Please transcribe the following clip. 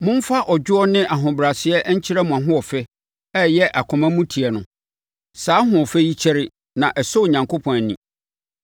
Momfa ɔdwoɔ ne ahobrɛaseɛ nkyerɛ mo ahoɔfɛ a ɛyɛ akomamuteɛ no. Saa ahoɔfɛ yi kyɛre na ɛsɔ Onyankopɔn ani.